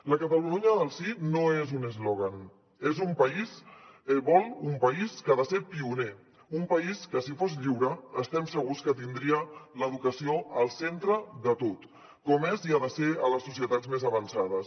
la catalunya del sí no és un eslògan vol un país que ha de ser pioner un país que si fos lliure estem segurs que tindria l’educació al centre de tot com és i ha de ser a les societats més avançades